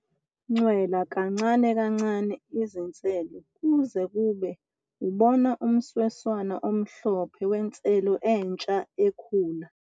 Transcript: Ncwela kancane kancane izinselo kuze kube ubona umsweswana omhlophe wenselo entsha ekhula.